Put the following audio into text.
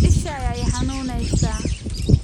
Isha ayaa i xanuunaysa.